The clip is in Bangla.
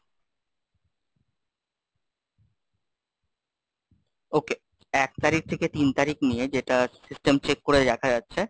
okay এক তারিখ থেকে তিন তারিখ নিয়ে, যেটা System check করে দেখা যাচ্ছে,